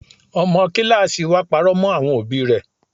Ọmọ kíláàsì wa parọ́ mọ́ àwọn òbí rẹ.